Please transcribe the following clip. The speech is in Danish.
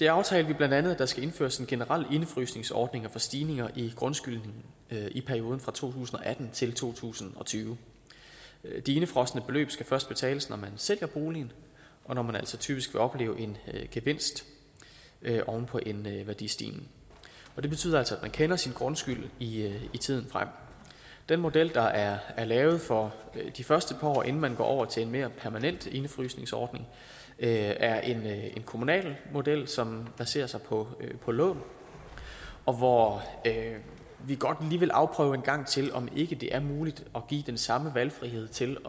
aftalte vi bla at der skal indføres en generel indefrysningsordning for stigninger i grundskylden i perioden fra to tusind og atten til to tusind og tyve de indefrosne beløb skal først betales når man sælger boligen og når man altså typisk vil opleve en gevinst oven på en værdistigning det betyder altså at man kender sin grundskyld i tiden frem den model der er lavet for de første par år inden man går over til en mere permanent indefrysningsordning er en kommunal model som baserer sig på på lån og hvor vi godt lige vil afprøve en gang til om ikke det er muligt at give den samme valgfrihed til